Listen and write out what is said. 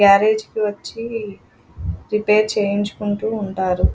Garage కి వచ్చి repair చేయించుకుంటూ ఉంటారు.